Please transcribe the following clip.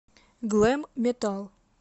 глэм метал